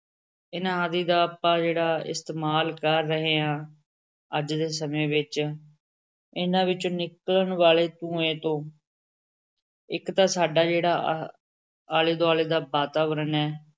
ਇਹਨਾਂ ਆਦਿ ਦਾ ਆਪਾਂ ਜਿਹੜਾ ਇਸਤੇਮਾਲ ਕਰ ਰਹੇ ਹਾਂ ਅੱਜ ਦੇ ਸਮੇਂ ਵਿੱਚ ਇਹਨਾਂ ਵਿੱਚੋਂ ਨਿਕਲਣ ਵਾਲੇ ਧੂੰਏ ਤੋਂ ਇੱਕ ਤਾਂ ਸਾਡਾ ਜਿਹੜਾ ਆ ਆਲੇ ਦੁਆਲੇ ਦਾ ਵਾਤਾਵਰਨ ਹੈ,